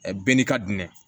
bɛɛ n'i ka dunnen